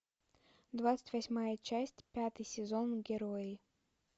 двадцать восьмая часть пятый сезон герои